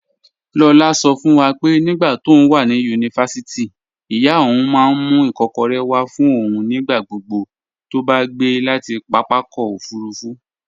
Lola sọ fún wa pé nígbà tóun wà ní yunifásítì, ìyá òun máa ń mú ikokore wá fún òun nígbà gbogbo tó bá gbé láti pápákọ̀ òfuurufú.